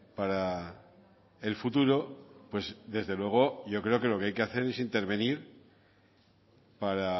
para el futuro pues desde luego yo creo que lo que hay que hacer es intervenir para